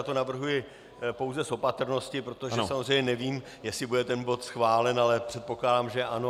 Já to navrhuji pouze z opatrnosti, protože samozřejmě nevím, jestli bude ten bod schválen, ale předpokládám, že ano.